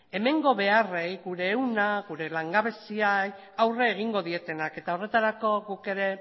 hemengo beharrei gure ehuna gure langabeziari aurre egingo dietenak eta horretarako guk ere